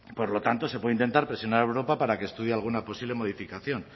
por lo tanto se puede intentar presionar a europa para que estudie alguna posible modificación